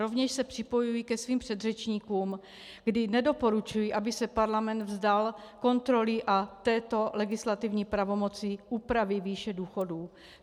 Rovněž se připojuji ke svým předřečníkům, kdy nedoporučuji, aby se Parlament vzdal kontroly a této legislativní pravomoci úpravy výše důchodů.